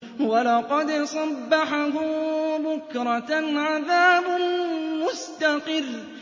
وَلَقَدْ صَبَّحَهُم بُكْرَةً عَذَابٌ مُّسْتَقِرٌّ